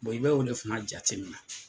i bɛ o de fana jatemina.